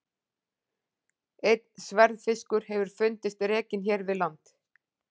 Einn sverðfiskur hefur fundist rekinn hér við land.